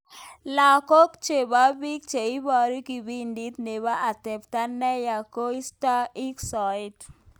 Lenguk chebok biik cheibaru kibindit nebo atemta neya keistoo ik soet.